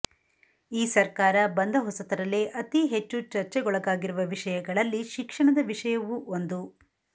ಈ ಸರ್ಕಾರ ಬಂದ ಹೊಸತರಲ್ಲೇ ಅತಿಹೆಚ್ಚು ಚರ್ಚೆಗೊಳಗಾಗಿರುವ ವಿಷಯಗಳಲ್ಲಿ ಶಿಕ್ಷಣದ ವಿಷಯವೂ ಒಂದು